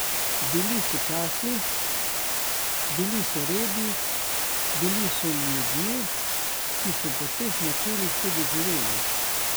Bili so časi, bili so redi, bili so ljudje, ki so po teh načelih tudi živeli.